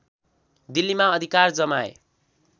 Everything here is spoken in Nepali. दिल्लीमा अधिकार जमाए